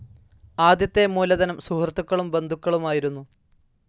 ആദ്യത്തെ മൂലധനം സുഹൃത്തുക്കളും ബന്ധുക്കളുമായിരുന്നു.